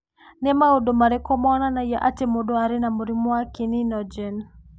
Nĩ maũndũ marĩkũ monanagia atĩ mũndũ arĩ na mũrimũ wa kininogen?